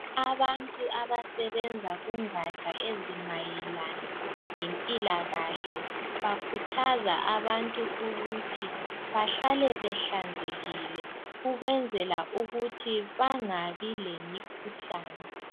Abantu abasebenza kungatsha ezimayelana lempilakahle khuthaza abantu ukuthi bahlale behlanzekile ukwenzela ukuthi bangabi lemikhuhlan e